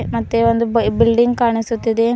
ಮತ್ತೆ ಒಂದು ಬಾ ಬಿಲ್ಡಿಂಗ್ ಕಾಣಿಸುತ್ತಿದೆ.